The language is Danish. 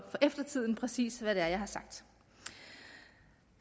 eftertiden præcis hvad det er jeg har sagt